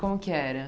Como que era?